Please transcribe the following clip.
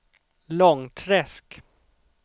Långträsk